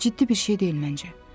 Ciddi bir şey deyil məncə.